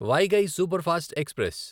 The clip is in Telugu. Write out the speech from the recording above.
Vaigai superfast express